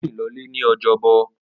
Ó rìn lọlé ní ojọ́bọ̀.